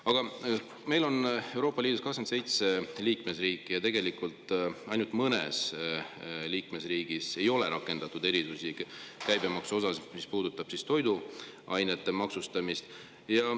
Aga Euroopa Liidus on 27 liikmesriiki ja tegelikult ainult mõnes liikmesriigis ei ole rakendatud käibemaksuerisusi, mis puudutavad toiduainete maksustamist.